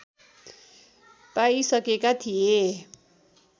पाइसकेका थिए